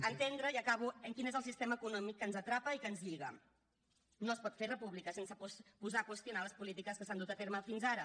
a entendre ja acabo en quin és el sistema econòmic que ens atrapa i que ens lliga no es pot fer república sense posar a qüestionar les polítiques que s’han dut a terme fins ara